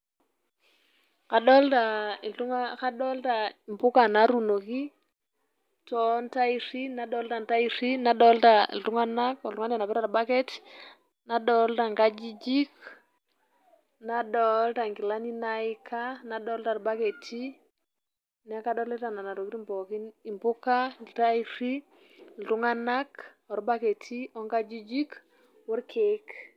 Kadolita mpuka natuunoki toontaerri, nadolita ntaerri, nadolita iltung'anak, oltung'ani onapita olbaket, nadolita nkajijik, nadolita nkilani naika, nadolita ilbaketi, neeku kadolita nena tokitin pooki impuka, iltaerri, iltung'anak, olbaketi, onkajijik, olkeek.